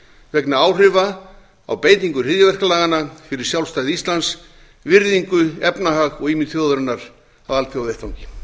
vegna áhrifa af beitingu hryðjuverkalaganna fyrir sjálfstæði íslands virðingu efnahag og ímynd þjóðarinnar á alþjóðavettvangi